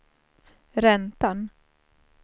räntan